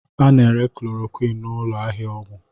A na-ere chloroquine n'ụlọ ahịa ọgwụ